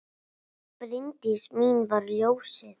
Hún Bryndís mín var ljósið.